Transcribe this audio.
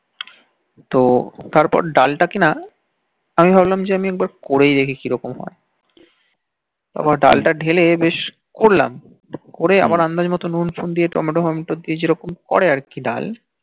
তো তারপর ডাল তা কিনা আমি ভাবলাম যে একবার করেই দেখি কি রকম হয় তারপর ডাল তা ঢেলে বেশ করলাম করে আমার আন্দাজ মতো নুন ফুন দিয়ে tomato tomato দিয়ে যে রকম করে আর কি ডাল